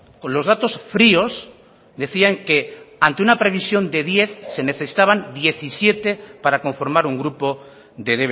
con los datos fríos decían que ante una previsión de diez se necesitaban diecisiete para conformar un grupo de